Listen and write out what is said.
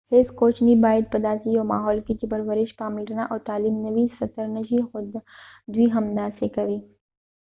هیڅ کوچنی باید په داسې یو ماحول کې چې پرورش پاملرنه او تعلیم نه وي ستر نه شي خو دوی همداسې کوي